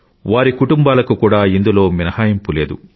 వారి కుటుంబాలకు కూడా ఇందులో మినహాయింపు లేదు